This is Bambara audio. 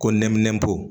Ko nɛminɛnpo